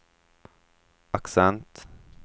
accent